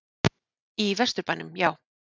Í Vesturbænum, já.